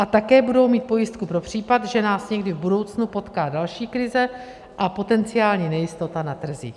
A také budou mít pojistku pro případ, že nás někdy v budoucnu potká další krize a potenciální nejistota na trzích.